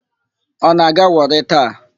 Ọ na-aga Wọrị taa?